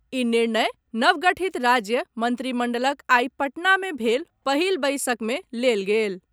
ई निर्णय नवगठित राज्य मंत्रिमंडलक आई पटना मे भेल पहिल बैसक मे लेल गेल।